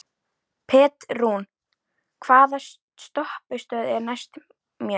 Petrún, hvaða stoppistöð er næst mér?